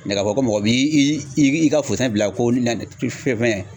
k'a fɔ ko mɔgɔ b'i ka bila ko na fɛn fɛn.